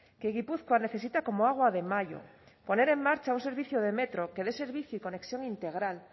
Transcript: que gipuzkoa necesita como agua de mayo poner en marcha un servicio de metro que dé servicio y conexión integral